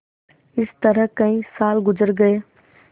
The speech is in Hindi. इस तरह कई साल गुजर गये